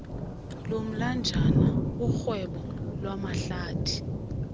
komlanjana urhwebo lwamahlathi